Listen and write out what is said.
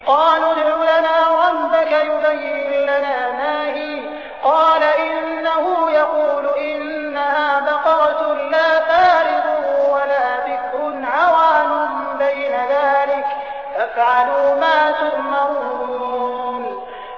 قَالُوا ادْعُ لَنَا رَبَّكَ يُبَيِّن لَّنَا مَا هِيَ ۚ قَالَ إِنَّهُ يَقُولُ إِنَّهَا بَقَرَةٌ لَّا فَارِضٌ وَلَا بِكْرٌ عَوَانٌ بَيْنَ ذَٰلِكَ ۖ فَافْعَلُوا مَا تُؤْمَرُونَ